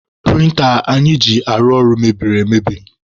Prịnta anyị ji arụ ọrụ mebiri emebi.